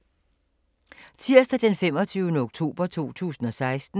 Tirsdag d. 25. oktober 2016